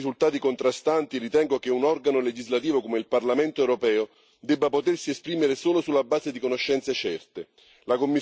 Alla luce dei risultati contrastanti ritengo che un organo legislativo come il Parlamento europeo debba potersi esprimere solo sulla base di conoscenze certe.